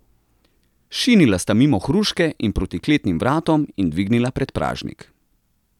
Šinila sta mimo hruške in proti kletnim vratom in dvignila predpražnik.